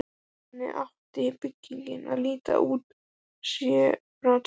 Þannig átti byggingin að líta út, séð frá torginu.